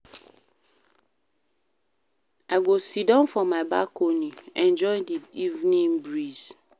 I go siddon for my balcony, enjoy di evening breeze."